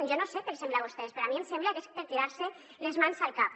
jo no sé què els sembla a vostès però a mi em sembla que és per tirar se les mans al cap